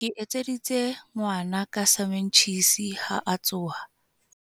ke etseditse ngwana ka samentjhisi ha a tsoha